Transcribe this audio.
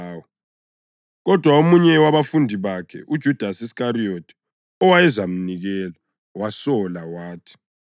Kodwa omunye wabafundi bakhe, uJudasi Iskariyothi owayezamnikela wasola wathi,